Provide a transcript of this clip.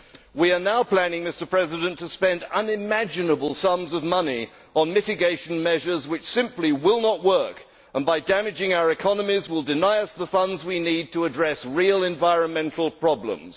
We are now planning to spend unimaginable sums of money on mitigation measures which simply will not work and which, by damaging our economies, will deny us the funds we need to address real environmental problems.